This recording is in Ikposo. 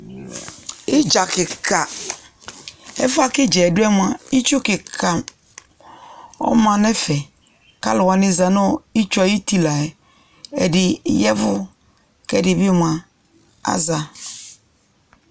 Idza kika Ɛfuɛ kʋ idza yɛ dʋ moa, itsu kika ɔma nʋ ɛfɛ kʋ alʋ wani zanʋ itsu e ayuti la yɛ Ɛdi yavʋ kʋ ɛdi bi moa aza